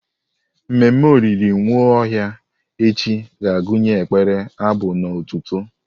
Ememme olili Nwaohia echi ga-agụnye ekpere, abụ na otuto.